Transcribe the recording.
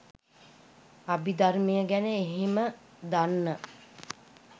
අභිධර්මය ගැන එහෙම දන්න